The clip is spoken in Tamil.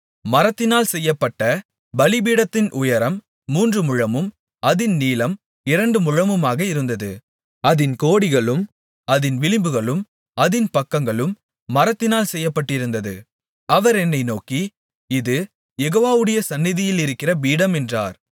மரத்தினால் செய்யப்பட்ட பலிபீடத்தின் உயரம் மூன்று முழமும் அதின் நீளம் இரண்டு முழமுமாக இருந்தது அதின் கோடிகளும் அதின் விளிம்புகளும் அதின் பக்கங்களும் மரத்தினால் செய்யப்பட்டிருந்தது அவர் என்னை நோக்கி இது யெகோவாவுடைய சந்நிதியிலிருக்கிற பீடம் என்றார்